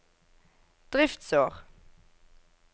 driftsår